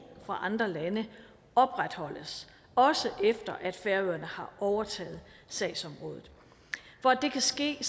fra andre lande opretholdes også efter at færøerne har overtaget sagsområdet for at det kan ske